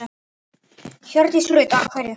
Hjördís Rut: Af hverju?